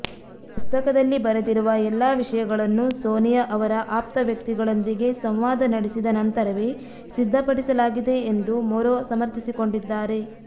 ಪುಸ್ತಕದಲ್ಲಿ ಬರೆದಿರುವ ಎಲ್ಲ ವಿಷಯಗಳನ್ನೂ ಸೋನಿಯಾ ಅವರ ಆಪ್ತ ವ್ಯಕ್ತಿಗಳೊಂದಿಗೆ ಸಂವಾದ ನಡೆಸಿದ ನಂತರವೇ ಸಿದ್ಧಪಡಿಸಲಾಗಿದೆ ಎಂದು ಮೊರೊ ಸಮರ್ಥಿಸಿಕೊಂಡಿದ್ದಾರೆ